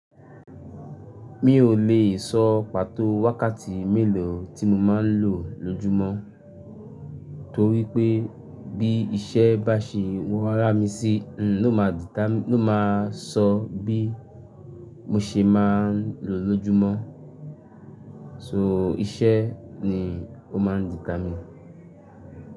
Mi ò lè sọ pàtó wákàtí mélòó tí mo máa ń lò lójúmọ́ torí pé bí iṣẹ́ bá ṣe wọ́ rá mi sí, n ó ma determine n ó ma sọ bí mo ṣe máa ń lò lójúmọ́. So iṣẹ́ ni ó máa ń determine.